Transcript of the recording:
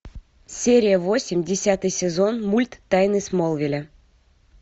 серия восемь десятый сезон мульт тайны смолвиля